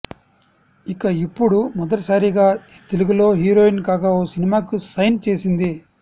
ఇక ఇప్పుడు మొదటిసారిగా తెలుగులో హీరోయిన్ గా ఓ సినిమాకి సైన్ చేసింది